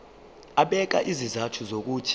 ebeka izizathu zokuthi